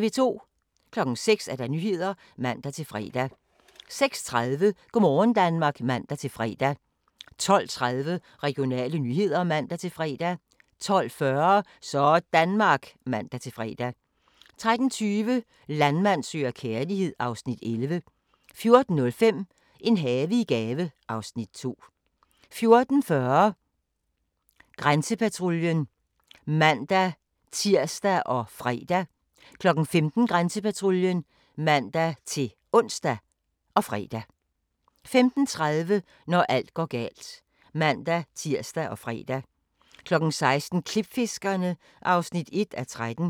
06:00: Nyhederne (man-fre) 06:30: Go' morgen Danmark (man-fre) 12:30: Regionale nyheder (man-fre) 12:40: Sådanmark (man-fre) 13:20: Landmand søger kærlighed (Afs. 11) 14:05: En have i gave (Afs. 2) 14:40: Grænsepatruljen (man-tir og fre) 15:00: Grænsepatruljen (man-ons og fre) 15:30: Når alt går galt (man-tir og fre) 16:00: Klipfiskerne (1:13)